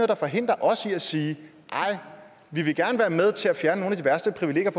der forhindrer os i at sige ej vi vil gerne være med til at fjerne nogle af de værste privilegier